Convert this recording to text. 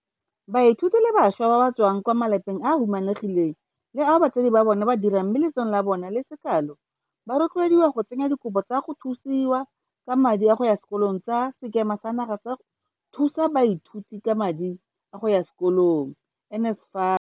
Baithuti le bašwa ba ba tswang kwa malapeng a a humanegileng le ao batsadi ba bona ba dirang mme letseno la bona le se kalo ba rotloediwa go tsenya dikopo tsa go thusiwa ka madi a go ya sekolong tsa Sekema sa Naga sa go Thusa Baithuti ka madi a go ya Sekolong NSFA.